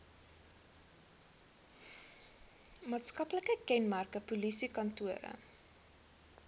maatskaplike kenmerke polisiekantore